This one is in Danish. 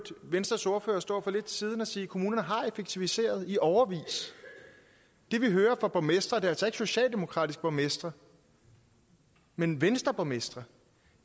venstres ordfører stå for lidt siden og sige at kommunerne har effektiviseret i årevis det vi hører fra borgmestre og det er altså ikke socialdemokratiske borgmestre men venstreborgmestre